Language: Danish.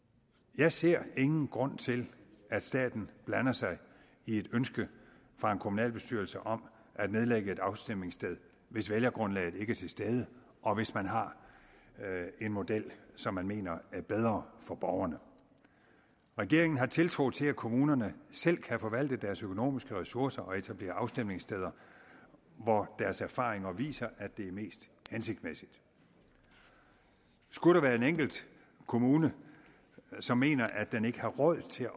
jeg ser ingen grund til at staten blander sig i et ønske fra en kommunalbestyrelse om at nedlægge et afstemningssted hvis vælgergrundlaget ikke er til stede og hvis man har en model som man mener er bedre for borgerne regeringen har tiltro til at kommunerne selv kan forvalte deres økonomiske ressourcer og etablere afstemningssteder hvor deres erfaringer viser at det er mest hensigtsmæssigt skulle der være en enkelt kommune som mener at den ikke har råd til